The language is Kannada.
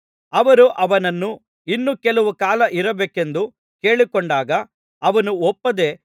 ಅವರು ಅವನನ್ನು ಇನ್ನು ಕೆಲವು ಕಾಲ ಇರಬೇಕೆಂದು ಕೇಳಿಕೊಂಡಾಗ ಅವನು ಒಪ್ಪದೆ